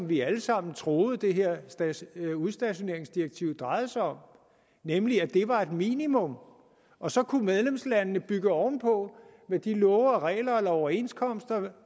vi alle sammen troede det her udstationeringsdirektiv drejede sig om nemlig at det var et minimum og så kunne medlemslandene bygge ovenpå med de love og regler eller overenskomster